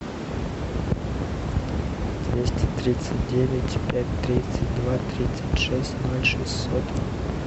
двести тридцать девять пять тридцать два тридцать шесть ноль шестьсот